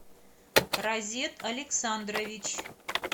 розет александрович